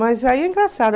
Mas aí é engraçado.